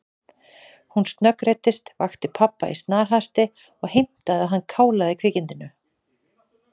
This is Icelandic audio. Hún snöggreiddist, vakti pabba í snarhasti og heimtaði að hann kálaði kvikindinu.